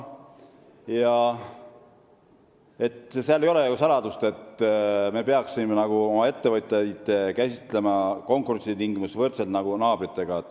Ja see ei ole ju saladus, et me peaksime oma ettevõtjaid käsitlema konkurentsitingimuste mõttes võrdselt naabritega.